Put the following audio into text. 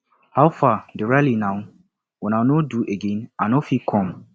how far the rally now una no do again i no fit come